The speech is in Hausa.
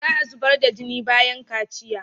Za a zubar da jini bayan kaciya.